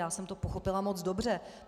Já jsem to pochopila moc dobře.